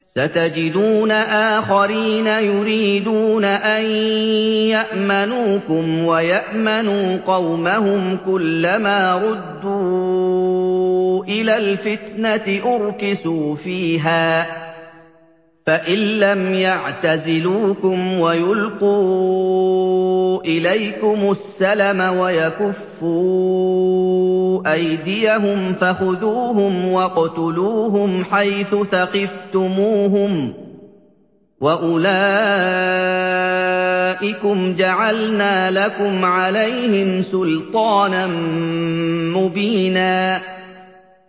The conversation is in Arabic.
سَتَجِدُونَ آخَرِينَ يُرِيدُونَ أَن يَأْمَنُوكُمْ وَيَأْمَنُوا قَوْمَهُمْ كُلَّ مَا رُدُّوا إِلَى الْفِتْنَةِ أُرْكِسُوا فِيهَا ۚ فَإِن لَّمْ يَعْتَزِلُوكُمْ وَيُلْقُوا إِلَيْكُمُ السَّلَمَ وَيَكُفُّوا أَيْدِيَهُمْ فَخُذُوهُمْ وَاقْتُلُوهُمْ حَيْثُ ثَقِفْتُمُوهُمْ ۚ وَأُولَٰئِكُمْ جَعَلْنَا لَكُمْ عَلَيْهِمْ سُلْطَانًا مُّبِينًا